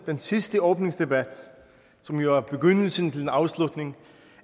den sidste åbningsdebat som jo er begyndelsen til en afslutning